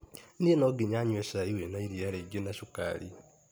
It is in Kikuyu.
Niĩ nonginya nyue cai wĩna iria rĩingĩ na sukari.